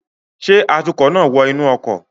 Ṣe atukọ naa wọ inu ọkọ